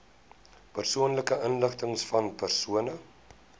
persoonlike inligtingvan persone